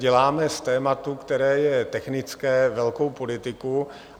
Děláme z tématu, které je technické, velkou politiku.